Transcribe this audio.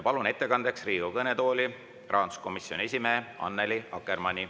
Palun ettekandeks Riigikogu kõnetooli rahanduskomisjoni esimehe Annely Akkermanni.